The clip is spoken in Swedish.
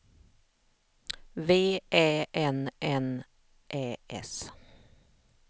V Ä N N Ä S